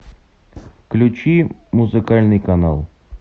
включи музыкальный канал